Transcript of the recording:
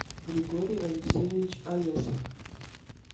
григорий алексеевич алесов